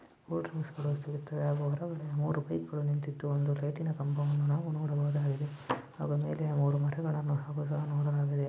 Cool drinks ಗಳು ಸಿಗುತ್ತೆ ಮತ್ತು ಅದರ ಮುಂದೆ ಮೂರು ಬೈಕುಗಳು ನಿಂತಿದ್ದು ಒಂದು ಲೈಟಿನ ಕಂಬವನ್ನು ನಾವು ನೋಡಬಹುದು ಆಗಿದೆ ಅದರ ಮೇಲೆ ಮೂರು ಮರಗಳನ್ನು ನಾವು ಸಹ ನೋಡಲಾಗಿದೆ.